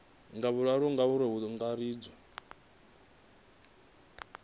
wa vhuraru ngauri hu angaredzwa